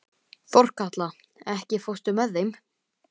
Þorkatla, ekki fórstu með þeim?